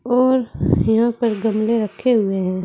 और यहां पर गमले रखे हुए है।